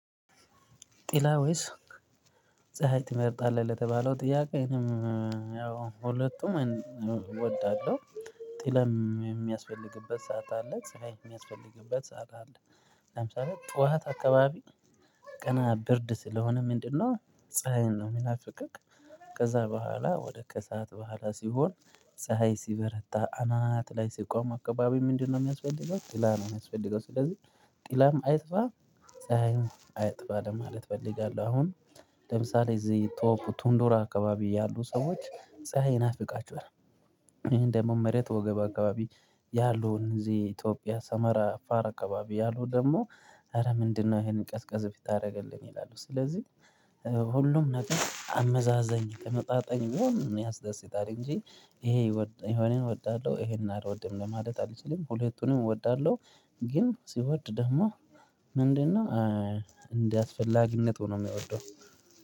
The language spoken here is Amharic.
ጥላ ወይስ ፀሀይ ትመርጣለህ? ለተባለው ጥያቄንም ያው ሁለቱም እወዳለዉ። ጥላም የሚያስፈልግበት ሰዓት አለ ፀሀይ ሚያስፈልግበት ሰዓት አለ ለምሳሌ ጡዋት አከባቢ ቀና ብርድ ስለሆነ ምንድነው ፀሀይን ነው የሚናፍቅክ ከዛ ቦኋላ ወደ ከሰአት ቦኋላ ሲሆን ፀሀይ ሲበረታ አናት ላይ ሲቆም አከባቢ ምንድነው የሚያስፈልገው? ጢላ ነው የሚያስፈልገው ስለዚህ ጥላም አይጥፋ ፀሀይም አይጥፋ ለማለት እፈልጋለው። አሁን ለምሳሌ እዚህ ቶፕ ቱንዱራ አከባቢ ያሉ ሰዎች ፀሀይ ይናፍቃቸዋል። ይሄን ደግሞ መሬት ወገብ አከባቢ ያሉን እዚህ ኢትዮጵያ ሰመራ አፋር አከባቢ ያሉ ደግሞ ኧረ ምንድነው ይሄንን ቀዝቀዝ ብታረግልኝ ይላሉ። ስለዚህ ሁሉም ነገር አመዛዛኝ ተመጣጣኝ መሆን ያስደስታል እንጂ ይሄ የሆነ እወዳለሁ ይሄንን አልወድም ለማለት አልችልም ሁለቱንም እወዳለው። ግን ሲወድ ደግሞ ምንድነው? እንደ አስፈላጊነቱ ነው ሚወደው።